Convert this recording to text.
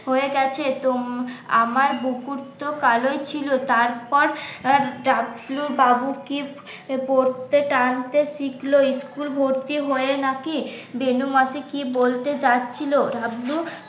হয়ে গেছে আমার বুকু তো কালো ই ছিল তারপর ডাকলো বাবু কি পড়তে টানতে শিখল ইস্কুল ভর্তি হয়ে নাকি বেনু মাসি কি বলতে যাচ্ছিল?